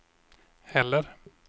heller